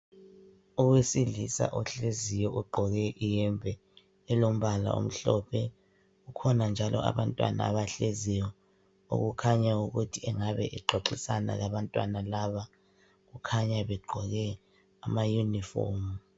Owesilisa ohleziyo ogqoke iyembe elombala omhlophe, kukhona njalo abantwana abahleziyo okukhanya ukuthi engabe exoxisana labantwana laba kukhanya beqgqoke amayunifomu.